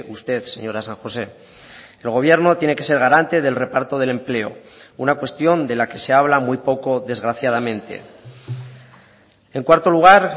usted señora san josé el gobierno tiene que ser garante del reparto del empleo una cuestión de la que se habla muy poco desgraciadamente en cuarto lugar